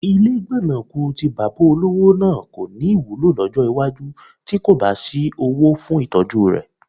Ilé gbọ̀nàkù tí bàbá olówó náà kọ́ ní wúlò lọ́jọ́ iwájú tí kò bá sí owó fún ìtọ́jú rẹ̀